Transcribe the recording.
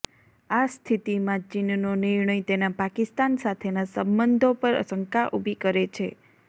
આ સ્થિતીમાં ચીનનો નિર્ણય તેના પાકિસ્તાન સાથેના સંબંધો પર શંકા ઉભી કરે છે